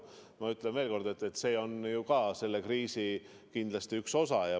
Ma ütlen veel kord, et see on ju kindlasti ka üks selle kriisi osa.